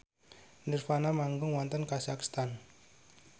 nirvana manggung wonten kazakhstan